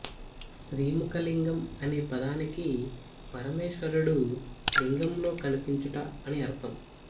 శ్రీముఖలింగం అనే పదానికి పరమేశ్వరుడు లింగంలో కనిపించుట అని అర్ధం